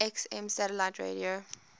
xm satellite radio